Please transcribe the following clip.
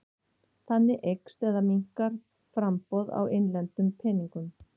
Þannig eykst eða minnkar framboð á innlendum peningum.